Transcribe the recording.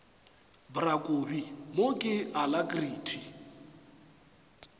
bra kobi mo ke alacrity